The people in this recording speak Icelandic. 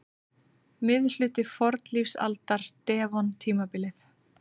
Miðhluti fornlífsaldar- devon-tímabilið.